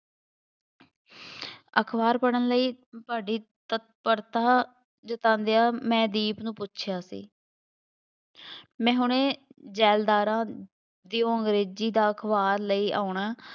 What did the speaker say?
ਅਖਬਾਰ ਪੜ੍ਹਨ ਲਈ ਬੜੀ ਤਤਪਰਤਾ ਜਤਾਉਂਦਿਆ ਮੈਂ ਦੀਪ ਨੂੰ ਪੁੱਛਿਆ ਸੀ ਮੈਂ ਹੁਣੇ ਜ਼ੈਲਦਾਰਾਂ ਦੀ ਉਹ ਅੰਗਰੇਜ਼ੀ ਦਾ ਅਖਬਾਰ ਲਈ ਆਉਣਾ,